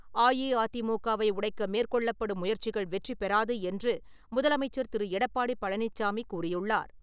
அஇஅதிமுகவை உடைக்க மேற்கொள்ளப்படும் முயற்சிகள் வெற்றி பெறாது என்று முதலமைச்சர் திரு. எடப்பாடி பழனிச்சாமி கூறியுள்ளார்.